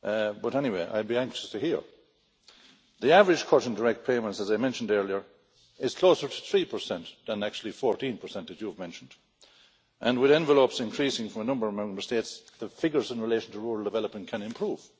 But anyway, I'd be anxious to hear. The average cut in direct payments as I mentioned earlier is closer to 3 than actually 14 that you have mentioned and, with envelopes increasing from a number of Member States, the figures in relation to rural development can improve.